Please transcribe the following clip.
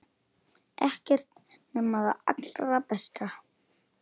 Ekkert nema það allra besta.